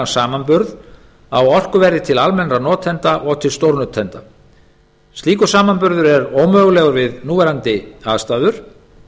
samanburð á orkuverði til almennra notenda og til stórnotenda slíkur samanburður er ómögulegur við núverandi aðstæður